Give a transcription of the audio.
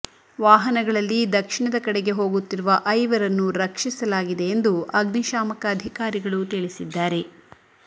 ವಾಹನಗಳಲ್ಲಿ ದಕ್ಷಿಣದ ಕಡೆಗೆ ಹೋಗುತ್ತಿರುವ ಐವರನ್ನು ರಕ್ಷಿಸಲಾಗಿದೆ ಎಂದು ಅಗ್ನಿಶಾಮಕ ಅಧಿಕಾರಿಗಳು ತಿಳಿಸಿದ್ದಾರೆ